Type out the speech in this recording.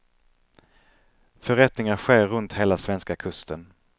Förrättningar sker runt hela svenska kusten.